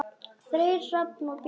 Freyr, Hrafn og Björk.